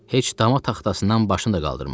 Heç dama taxtasından başını da qaldırmadı.